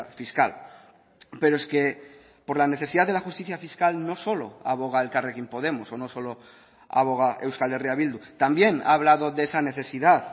fiscal pero es que por la necesidad de la justicia fiscal no solo aboga elkarrekin podemos o no solo aboga euskal herria bildu también ha hablado de esa necesidad